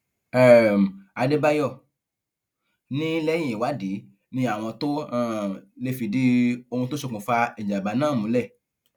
um àdèbàyò ni lẹyìn ìwádìí ni àwọn tóo um lè fìdí ohun tó ṣokùnfà ìjàmbá náà múlẹ